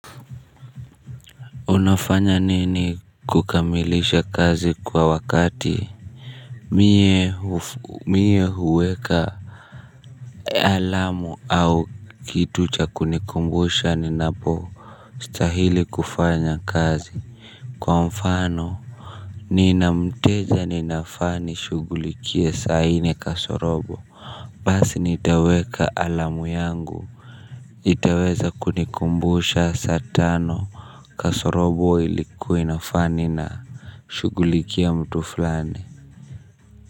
Unafanya nini kukamilisha kazi kwa wakati? Mie huweka alamu au kitu cha kunikumbusha ninapostahili kufanya kazi. Kwa mfano nina mteja ninafaa nishughulikie saa nne kasorobo. Basi nitaweka alamu yangu. Itaweza kunikumbusha saa tano kasorobo ilikuwa inafaa ninashughulikia mtu fulani.